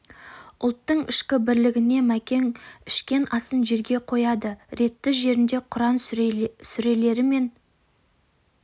ұлттың ішкі бірлігіне мәкең ішкен асын жерге қояды ретті жерінде құран сүрелері мен аяттардан ғибраттар айтады